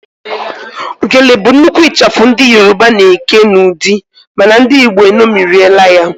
Gele bụ nnukwu ịchafụ ndị Yoroba na-eke n'ụdị mana ndị igbo eṅomirila ya